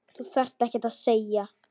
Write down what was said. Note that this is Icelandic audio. Þú þarft ekkert að segja.